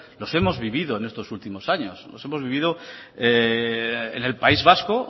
los hemos vivido en estos últimos años los hemos vivido en el país vasco